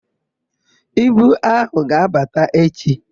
Ibu áhụ̀ ga-abata echi.